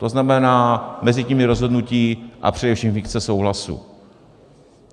To znamená, mezi tím je rozhodnutí a především dikce souhlasu.